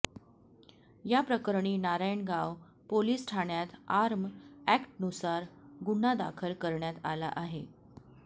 याप्रकरणी नारायणगाव पोलीस ठाण्यात आर्म अॅक्टनुसार गुन्हा दाखल करण्यात आला आहे